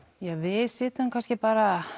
við sitjum kannski bara